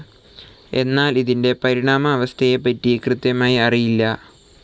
എന്നാൽ ഇതിന്റ പരിണാമ അവസ്ഥയെപ്പറ്റി കൃത്യമായി അറിയില്ല.